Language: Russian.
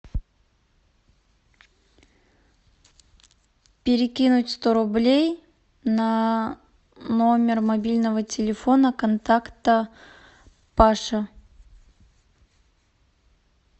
перекинуть сто рублей на номер мобильного телефона контакта паша